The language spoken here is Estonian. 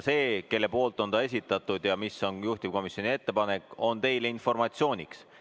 See, kelle poolt see on esitatud ja mis on juhtivkomisjoni ettepanek, on teile informatsiooniks.